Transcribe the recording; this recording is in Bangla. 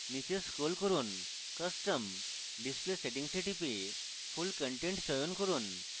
নীচে scroll করুন custom display settings এ টিপে full content চয়ন করুন